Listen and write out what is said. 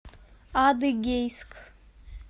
адыгейск